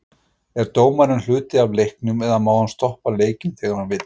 Er dómarinn hluti af leiknum eða má hann stoppa leikinn þegar hann vill?